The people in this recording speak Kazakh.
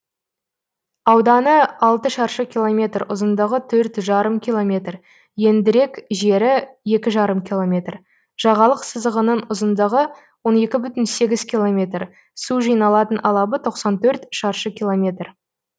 ауданы алты шаршы километр ұзындығы төрт жарым километр ендірек жері екі жарым километр жағалық сызығының ұзындығы он екі бүтін сегіз километр су жиналатын алабы тоқсан төрт шаршы километр